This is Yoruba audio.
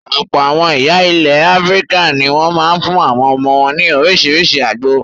Ọ̀pọ̀ àwọn ìyá ilẹ̀ Áfíríkà ní wọ́n máa ń fún àwọn ọmọ wọn ní oríṣiríṣi àgbo.